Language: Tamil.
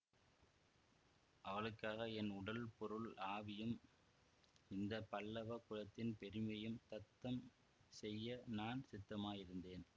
அவளுக்காக என் உடல் பொருள் ஆவியும் இந்த பல்லவ குலத்தின் பெருமையும் தத்தம் செய்ய நான் சித்தமாயிருந்தேன்